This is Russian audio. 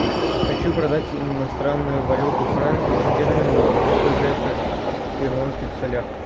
хочу продать иностранную валюту франки стерлингов сколько это в перуанских солях